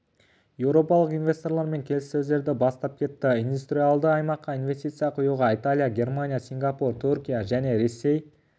еуропалық инвесторлармен келіссөздерді бастап кетті индустриалды аймаққа инвестиция құюға италия германия сингапур түркия және ресей